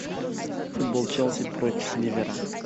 футбол челси против ливера